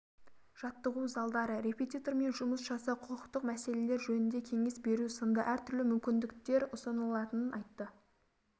жаттығу залдары репетитормен жұмыс жасау құқықтық мәселелер жөнінде кеңес беру сынды әртүрлі мүмкіндіктер ұсынылатынын айтты